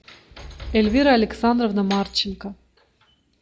эльвира александровна марченко